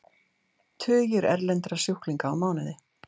Tugir erlendra sjúklinga á mánuði